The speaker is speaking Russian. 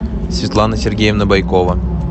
светлана сергеевна бойкова